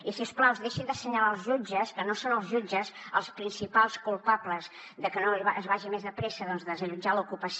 i si us plau deixin d’assenyalar els jutges que no són els jutges els principals culpables de que no es vagi més de pressa a desallotjar l’ocupació